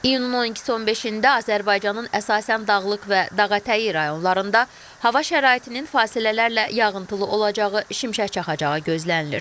İyunun 12-si 15-də Azərbaycanın əsasən dağlıq və dağətəyi rayonlarında hava şəraitinin fasilələrlə yağıntılı olacağı, şimşək çaxacağı gözlənilir.